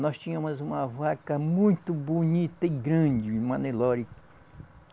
Nós tínhamos uma vaca muito bonita e grande, uma Nelore